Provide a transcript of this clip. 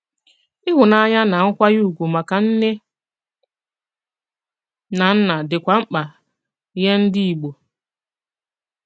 Ịhùnànyà na nkwànyè ùgwù maka nnè na nnà dịkwà mk̀pà nye ndị Ìgbò.